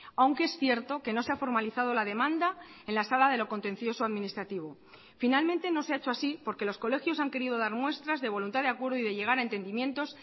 aunque es cierto que no se ha formalizado la demanda en la sala de lo contencioso administrativo finalmente no se ha hecho así porque los colegios han querido dar muestras de voluntad de acuerdo y de llegar a entendimientos